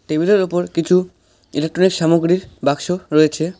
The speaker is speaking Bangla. টেবিলের ওপর কিছু ইলেকট্রনিক সামগ্রীর বাক্স রয়েছে।